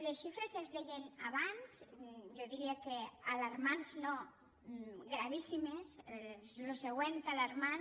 les xifres es deien abans jo diria que alarmants no gravíssimes és el següent d’alarmant